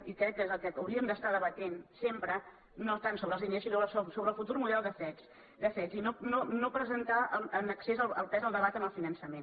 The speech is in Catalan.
i crec que és el que hauríem d’estar debatent sempre no tant sobre els diners sinó sobre el futur model de cet i no presentar en excés el pes del debat en el finançament